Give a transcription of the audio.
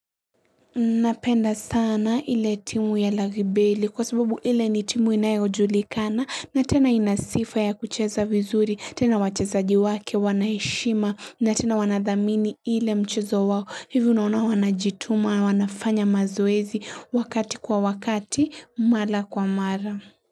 Napenda sana ile timu ya lagibeli kwa sababu ile ni timu inayojulikana na tena ina sifa ya kucheza vizuri tena wachezaji wake wanaheshima na tena wanadhamini ile mchezo wao hivyo naona wanajituma wanafanya mazoezi wakati kwa wakati mara kwa mara.